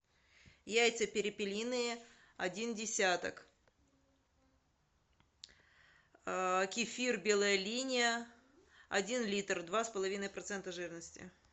яйца перепелиные один десяток кефир белая линия один литр два с половиной процента жирности